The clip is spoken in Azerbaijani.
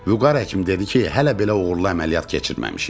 Vüqar həkim dedi ki, hələ belə uğurlu əməliyyat keçirməmişik.